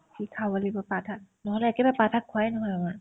শীতশাক বুলিতো পাত শাক নহয় নহয় কেতিয়াও পাত শাক খোৱাই নহয় আমাৰ